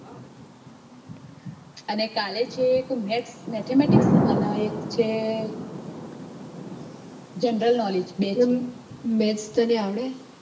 અને કાલે છે mathematics અને એક સે general knowledge